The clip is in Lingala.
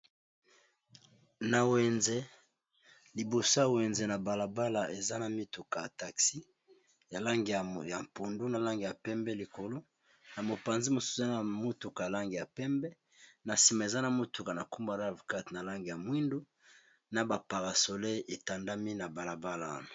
na wenze libosa wenze ya balabala eza na mituka ya taxi ya lange ya mpundu na lange ya pembe likolo na mopanzi mosu eza na motuka lange ya pembe na nsima eza na motuka na k24 na lange ya mwindu na baparasolel etandami na balabala